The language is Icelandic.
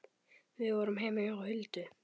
Við vorum heima hjá Huldu.